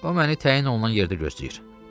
O məni təyin olunan yerdə gözləyir.